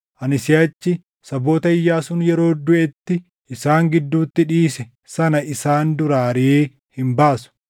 ani siʼachi saboota Iyyaasuun yeroo duʼetti isaan gidduutti dhiise sana isaan duraa ariʼee hin baasu.